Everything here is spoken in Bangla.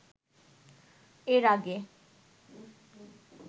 এর আগে